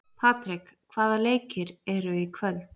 Patrek, hvaða leikir eru í kvöld?